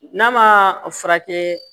N'a ma a furakɛ